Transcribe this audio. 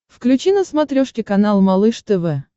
включи на смотрешке канал малыш тв